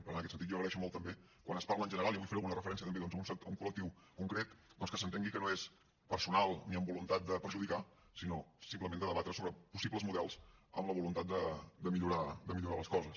per tant en aquest sentit jo agraeixo molt també quan es parla en general i avui faré alguna referència doncs també a un col·lectiu concret doncs que s’entengui que no és personal ni amb voluntat de perjudicar sinó simplement de debatre sobre possibles models amb la voluntat de millorar les coses